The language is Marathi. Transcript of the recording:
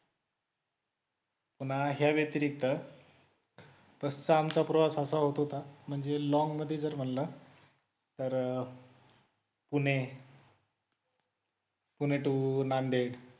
पुन्हा ह्या व्यतिरिक्त बसचा आमचा प्रवास असा होत होता म्हणजे long मध्ये जर म्हणलं तर पुणे पुणे to नांदेड